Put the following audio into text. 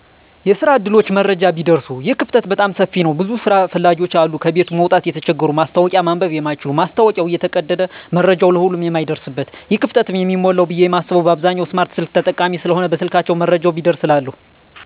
የስራ ዕድሎች መረጃ ቢደርሱ ይህ ክፍተት በጣም ሰፊ ነዉ ብዙ ስራ ፈላጊዎች አሉ ከቤት መዉጣት የተቸገሩ ማስታወቂያ ማንበብ የማይችሉ ማስታወቂያዉ እየተቀደደ መረጃዉ ለሁሉም የማይደርስበት ይህ ክፍተትም የሚሞላዉ ብየ የማስበዉ በአብዛኛዉ ስማርት ስልክ ተጠቃሚ ስለሆነ በስልካቸዉ መረጃዉ ቢደርስ እላለሁ